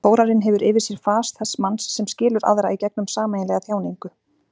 Þórarinn hefur yfir sér fas þess manns sem skilur aðra í gegnum sameiginlega þjáningu.